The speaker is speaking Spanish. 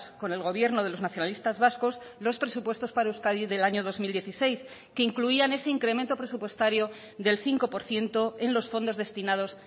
con el gobierno de los nacionalistas vascos los presupuestos para euskadi del año dos mil dieciséis que incluían ese incremento presupuestario del cinco por ciento en los fondos destinados